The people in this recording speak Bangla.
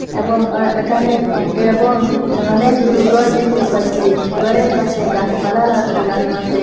এবং ও একানে একটি এবং অনেকগুলু গর দেখতে পাচ্ছি গরের পাশে গাসপালা লা লাগানো আসে।